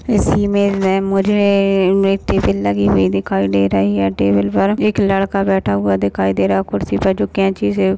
इस इमेज में मुझे मिट्टी सी लगी हुई दिखाई दे रही है टेबल पर। एक लड़का बैठा हुआ दिखाई दे रहा है कुर्सी पर जो कैंची से--